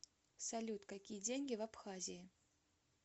салют какие деньги в абхазии